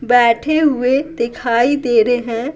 बैठे हुए दिखाई दे रहे हैं।